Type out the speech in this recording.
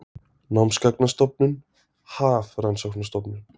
Námsgagnastofnun- Hafrannsóknastofnun.